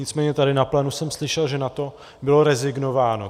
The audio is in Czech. Nicméně tady na plénu jsem slyšel, že na to bylo rezignováno.